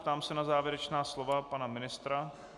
Ptám se na závěrečná slova pana ministra.